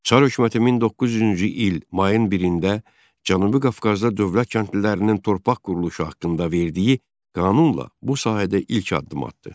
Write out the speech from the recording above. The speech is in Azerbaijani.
Çar hökuməti 1900-cü il mayın 1-də Cənubi Qafqazda dövlət kəndlilərinin torpaq quruluşu haqqında verdiyi qanunla bu sahədə ilk addım atdı.